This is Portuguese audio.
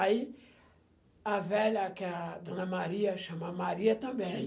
Aí a velha, que é a Dona Maria, chama Maria também.